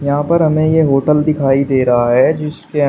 यहां पर हमें ये होटल दिखाई दे रहा है जिसके अं--